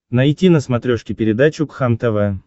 найти на смотрешке передачу кхлм тв